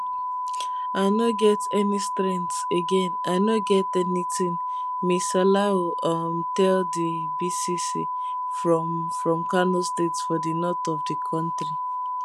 i no get any strength again i no get anytin ms salahu um tell di bbc from from kano state for di north of di kontri